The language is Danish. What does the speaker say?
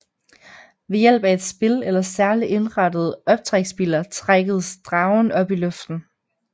Ved hjælp af et spil eller særligt indrettede optræksbiler trækkes dragen op i luften